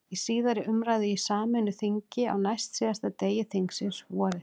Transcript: Í síðari umræðu í sameinu þingi, á næstsíðasta degi þingsins, vorið